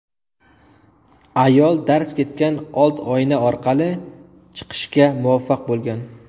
Ayol darz ketgan old oyna orqali chiqishga muvaffaq bo‘lgan.